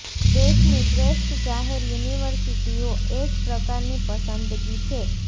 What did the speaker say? દેશની શ્રેષ્ઠ જાહેર યુનિવર્સિટીઓ એ જ પ્રકારની પસંદગી છે